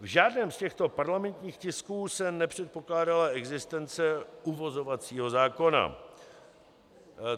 V žádném z těchto parlamentních tisků se nepředpokládala existence uvozovacího zákona.